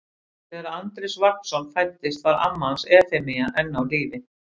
Þegar Andrés Vagnsson fæddist var amma hans Efemía enn á lífi.